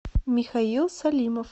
михаил салимов